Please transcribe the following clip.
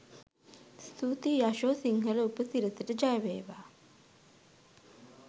ස්තුතියි යශෝ සිංහල උපසිරසට ජය වේවා!